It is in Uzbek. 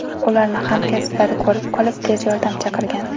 Ularni hamkasblari ko‘rib qolib, tez yordam chaqirgan.